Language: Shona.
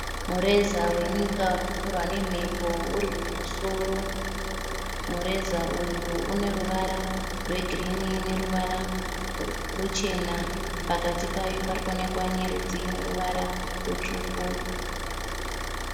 Mureza wenyika urikufurwa nemhepo urikumusoro. Mureza uyu uneruvara rwegirini neruvara ruchena. Pakati payo parikuonekwa nyeredzi ineruvara rutsvuku.